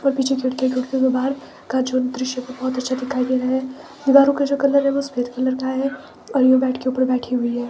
और पीछे खिड़कियां हैं खिड़कियों के बाहर का जो दृश्य है वो बहुत अच्छा दिखाई दे रहा है दीवारों का जो कलर है वो सफेद कलर का है और ये बेड के ऊपर बैठी हुई है।